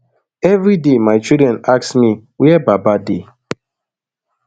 everi day my children ask me wia baba dey